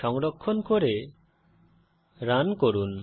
সংরক্ষণ করে রান করুন